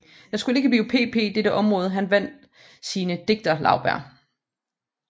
Det skulle ikke blive pp dette område han vandt sine digterlaurbær